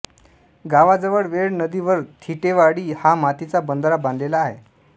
गावाजवळ वेळ नदीवर थिटेवाडी हा मातीचा बंधारा बांधलेला आहे